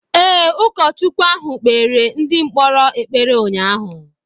Ee, ụkọchukwu ahụ kpeere ndị mkpọrọ ekpere ụnyaahụ.